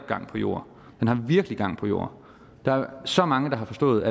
gang på jord den har virkelig gang på jord der er så mange der har forstået